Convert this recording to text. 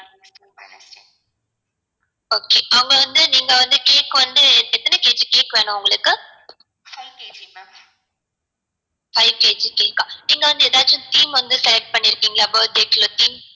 okay அவங்க வந்து நீங்க வந்து cake வந்து எத்தன kg cake வேணும் உங்களுக்கு five kg cake ஆ நீங்க வந்து ஏதாச்சும் theme வந்து select பண்ணிருகிங்களா birthday